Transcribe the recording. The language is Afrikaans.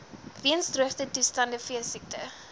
weens droogtetoestande veesiekte